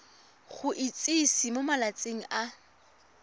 go itsise mo malatsing a